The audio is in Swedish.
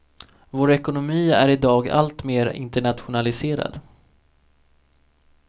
Vår ekonomi är i dag alltmer internationaliserad.